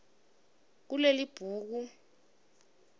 kulelibhuku